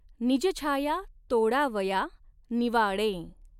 निजछाया तोडावया निवाडें।